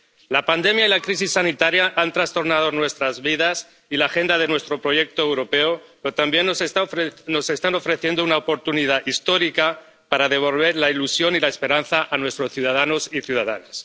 La pandemia y la crisis sanitaria han trastornado nuestras vidas y la agenda de nuestro proyecto europeo, pero también nos están ofreciendo una oportunidad histórica para devolver la ilusión y la esperanza a nuestros ciudadanos y ciudadanas.